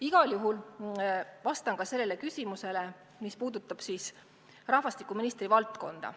Igal juhul ma vastan ka sellele küsimusele, mis puudutab rahvastikuministri valdkonda.